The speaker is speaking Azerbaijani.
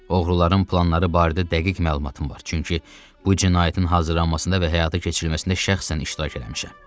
Oğruların planları barədə dəqiq məlumatım var, çünki bu cinayətin hazırlanmasında və həyata keçirilməsində şəxsən iştirak eləmişəm.